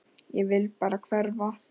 Ég vil bara hverfa.